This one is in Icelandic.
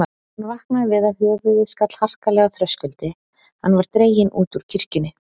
Hann vaknaði við að höfuðið skall harkalega á þröskuldi, hann var dreginn út úr kirkjunni.